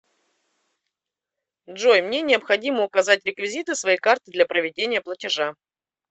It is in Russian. джой мне необходимо указать реквизиты своей карты для проведения платежа